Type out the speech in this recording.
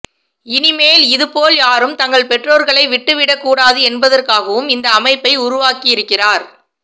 இனிமேல் இதுபோல் யாரும் தங்கள் பெற்றோர்களை விட்டுவிடக்கூடாது என்பதற்காகவும் இந்த அமைப்பை உருவாக்கியிருக்கிறார்